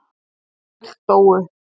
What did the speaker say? Öll dóu.